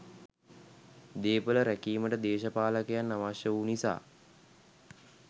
දේපළ රැකීමට දේශපාලකයන් අවශ්‍ය වූ නිසා